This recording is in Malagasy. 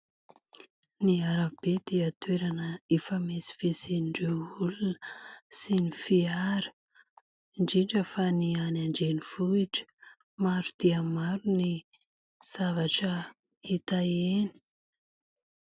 Ny arabe dia toerana ifamezivezen'ireo olona sy ny fiara, indrindra fa ny any an-drenivohitra. Maro dia maro ny zavatra hita eny.